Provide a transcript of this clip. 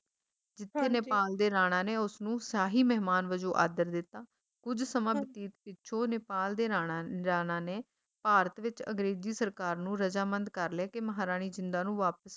ਜਿੱਥੇ ਨੇਪਾਲ ਦੇ ਰਾਣਾ ਨੇ ਉਸਨੂੰ ਸ਼ਾਹੀ ਮਹਿਮਾਨ ਵਜੋਂ ਆਦਰ ਦਿੱਤਾ, ਕੁੱਝ ਸਮਾਂ ਬਤੀਤ ਪਿੱਛੋਂ ਨੇਪਾਲ ਦੇ ਰਾਣਾ ਰਾਣਾ ਨੇ ਭਾਰਤ ਵਿੱਚ ਅੰਗਰੇਜ਼ੀ ਸਰਕਾਰ ਨੂੰ ਰਜ਼ਾਮੰਦ ਕਰ ਲਿਆ ਕੇ ਮਹਾਰਾਣੀ ਜਿੰਦਾਂ ਨੂੰ ਵਾਪਸ